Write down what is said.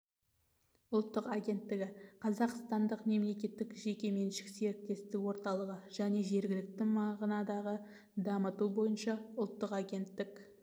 ұлттық агенттігі қазақстандық мемлекеттік жеке меншік серіктестік орталығы және жергілікті мағынадағы дамыту бойынша ұлттық агенттік